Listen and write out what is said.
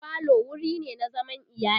falo wurine na zaman iyali